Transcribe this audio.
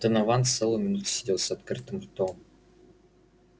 донован целую минуту сидел с открытым ртом